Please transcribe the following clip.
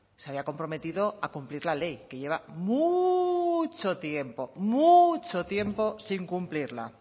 se había comprometido a cumplir la ley que lleva mucho tiempo mucho tiempo sin cumplirla